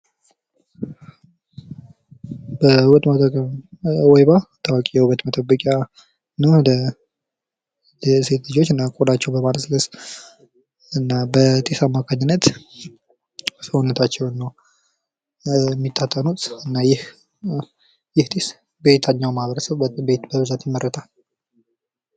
ከውበት መጠበቂያ ወይባ ታዋቂ የሆነ የውበት መጠበቂያ ነው ለሴቶች ልጆች ቆዳቸውን በማለስለስ እና በጢስ አምካኝነት እና ፊታቸውን ነው የሚታጠኑት ይህ በየትኛው ማህበረሰብ በብዛት ይመረታል?